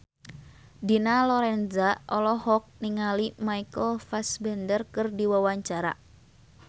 Dina Lorenza olohok ningali Michael Fassbender keur diwawancara